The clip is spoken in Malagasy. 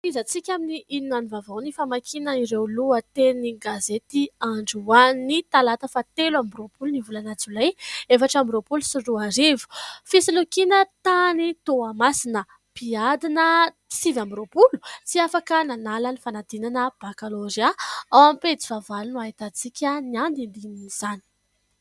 Tohizantsika amin'ny inona ny vaovao ny famakiana ireo lohatenin-gazety androany talata faha telo amby roapolon'ny volana jolay efatra amby roapolo sy roa arivo, fisolokiana tany Toamasina, mpiadina sivy amby roapolo tsy afaka nanala ny fanadinana bakalorea, ao amin'ny pejy faha valo no ahitantsika ny andinindinin'izany.